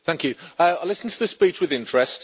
I listened to the speech with interest.